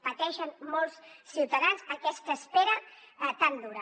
pateixen molts ciutadans aquesta espera tan dura